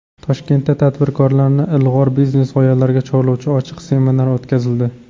Toshkentda tadbirkorlarni ilg‘or biznes g‘oyalarga chorlovchi ochiq seminar o‘tkazildi.